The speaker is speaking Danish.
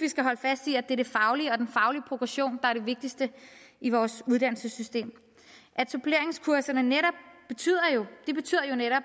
vi skal holde fast i at det er det faglige og den faglige progression er det vigtigste i vores uddannelsesystem suppleringskurserne betyder netop